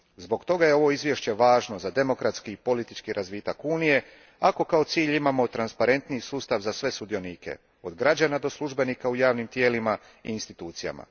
Zbog toga je ovo izvješće važno za demokratski i politički razvoj Unije ako kao cilj imamo transparentniji sustav za sve sudionike, od građana do službenika u javnim tijelima i institucijama.